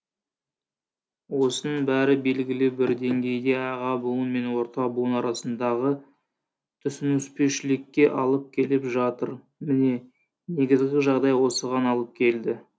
осының бәрі белгілі бір деңгейде аға буын мен орта буын арасындағы түсініспеушілікке алып келіп жатыр міне негізгі жағдай осыған алып келді